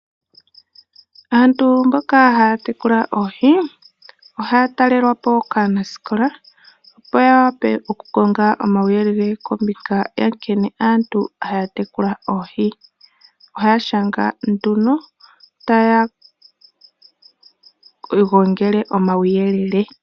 Aantu mboka haya tekula oohi ohaya talelwapo kaanasikola opo ya wape oku konga omauyelele kaantu mboka haya tekula oohi, ohaya shanga nduno taya gongele omauyelele.